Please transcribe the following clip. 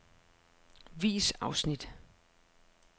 Vis afsnit.